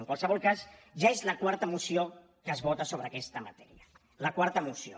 en qualsevol cas ja és la quarta moció que es vota sobre aquesta matèria la quarta moció